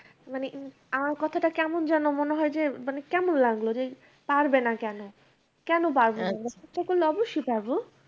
মানে আমার কথাটা কেমন যেন মনে হয় যে মানে কেমন লাগল যে পারবে না কেন। কেন পারবে না , চেষ্টা করলে অবশ্যই পারবো।